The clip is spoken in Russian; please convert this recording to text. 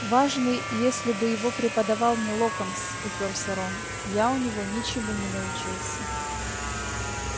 важный если бы его преподавал не локонс упёрся рон я у него ничему не научился